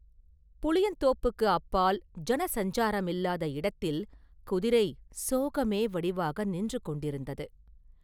புளியந்தோப்புக்கு அப்பால், ஜன சஞ்சாரமில்லாத இடத்தில் குதிரை சோகமே வடிவாக நின்று கொண்டிருந்தது.